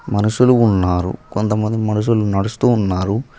మనుషులు ఉన్నారు కొంతమంది మనుషులు నడుస్తూ ఉన్నారు.